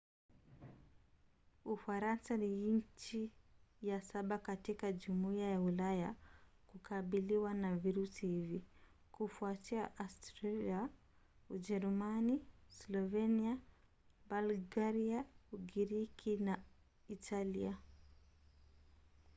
ufaransa ni nchi ya saba katika jumuiya ya ulaya kukabiliwa na virusi hivi; kufuatia austria ujerumani slovenia bulgaria ugiriki na italia